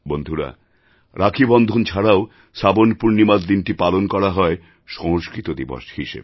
বন্ধুরা রাখীবন্ধন ছাড়াও শ্রাবণ পূর্ণিমার দিনটি পালন করা হয় সংস্কৃত দিবস হিসাবে